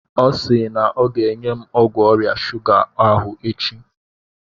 Ọ si na ọ ga-enye m ọgwụ ọrịa shuga ahụ echi.